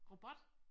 Robot?